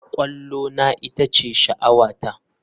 Kwallona ita ce sha'awata.